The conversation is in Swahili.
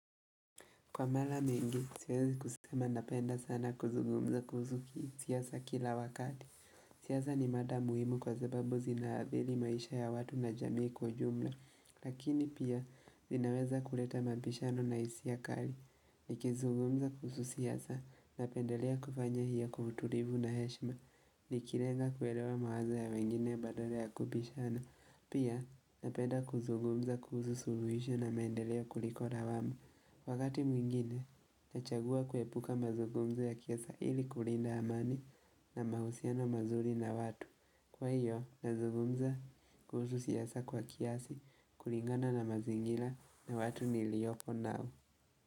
Kwa mara mingi, siwezi kusema napenda sana kuzugumza kuhusu ki siasa kila wakati. Siasa ni mada muhimu kwa zababu zinaabili maisha ya watu na jamii kwa ujumla. Lakini pia, zinaweza kuleta mambishano na hisia kali. Nikizugumza kuhusu siasa, napendelea kufanya hiyo kwa utulivu na heshima. Nikilenga kuelewa mawazo ya wengine badala ya kubishana. Pia, napenda kuzugumza kuhusu suluhisho na mendelea kuliko lawama. Wakati mwingine, nachagua kuepuka mazugumzo ya kiasa ili kulinda amani na mahusiano mazuri na watu. Kwa hiyo, nazugumza kuhusu siasa kwa kiasi kulingana na mazingira na watu niliovoko nao.